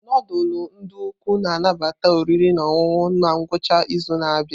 Nudulu ndi ukwu na-anabata oriri na ọṅụṅụ na ngwụcha izu na-abịa.